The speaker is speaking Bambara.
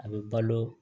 A bɛ balo